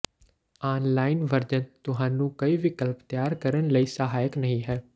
online version ਤੁਹਾਨੂੰ ਕਈ ਵਿਕਲਪ ਤਿਆਰ ਕਰਨ ਲਈ ਸਹਾਇਕ ਨਹੀ ਹੈ